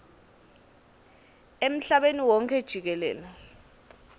emhlabeni wonkhe jikelele